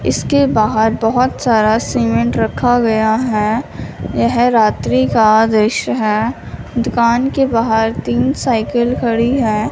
इसके बाहर बहोत सारा सीमेंट रखा गया है यह रात्रि का दृश्य है दुकान के बाहर तीन साइकिल खड़ी हैं।